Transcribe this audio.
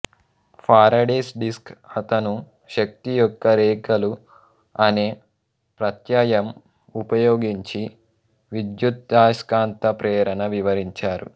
Faraday's disk అతను శక్తి యొక్క రేఖలు అనే ప్రత్యయం ఉపయోగించి విద్యుదయస్కాంత ప్రేరణ వివరించారు